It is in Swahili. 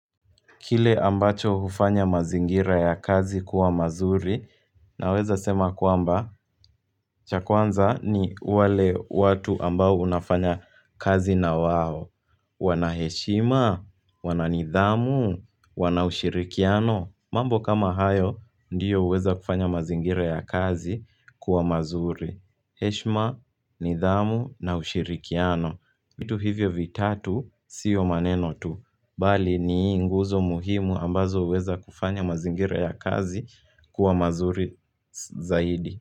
Kile ambacho hufanya mazingira ya kazi kuwa mazuri naweza sema kwamba cha kwanza ni wale watu ambao unafanya kazi na wao. Wana heshima? Wana nidhamu? Wana ushirikiano? Mambo kama hayo ndiyo huweza kufanya mazingira ya kazi kuwa mazuri. Heshima, nidhamu, na ushirikiano. Vitu hivyo vitatu sio maneno tu. Bali ni nguzo muhimu ambazo huweza kufanya mazingira ya kazi kuwa mazuri zaidi.